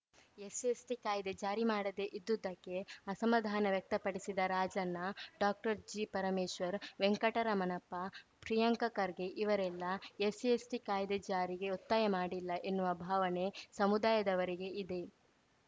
SC ಎಸ್ಟಿಕಾಯ್ದೆ ಜಾರಿ ಮಾಡದೇ ಇದ್ದುದ್ದಕ್ಕೆ ಅಸಮಾಧಾನ ವ್ಯಕ್ತಪಡಿಸಿದ ರಾಜಣ್ಣ ಡಾಕ್ಟರ್ಜಿಪರಮೇಶ್ವರ್‌ ವೆಂಕಟರಮಣಪ್ಪ ಪ್ರಿಯಾಂಕ ಖರ್ಗೆ ಇವರೆಲ್ಲಾ ಎಸ್ಸಿಎಸ್ಟಿಕಾಯ್ದೆ ಜಾರಿಗೆ ಒತ್ತಾಯ ಮಾಡಿಲ್ಲ ಎನ್ನುವ ಭಾವನೆ ಸಮುದಾಯದವರಿಗೆ ಇದೆ